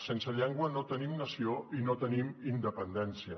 sense llengua no tenim nació i no tenim independència